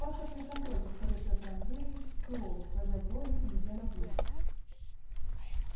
паспортный контроль повторил пётр андреевич сурово сводя брови и идя на принцип